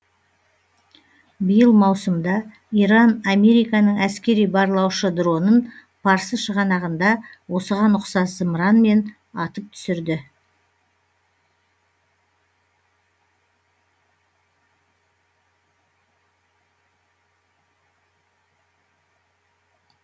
биыл маусымда иран американың әскери барлаушы дронын парсы шығанағында осыған ұқсас зымыранмен атып түсірді